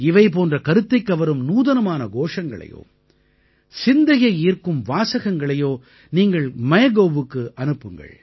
இவை போன்ற கருத்தைக்கவரும் நூதனமான கோஷங்களையோ சிந்தையை ஈர்க்கும் வாசகங்களையோ நீங்கள் MyGovக்கு அனுப்புங்கள்